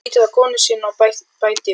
Hann lítur á konu sína og bætir við